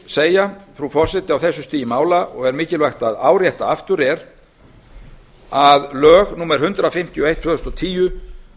segja frú forseti á þessu stigi mála og er mikilvægt að árétta aftur er að lög númer hundrað fimmtíu og eitt tvö þúsund og tíu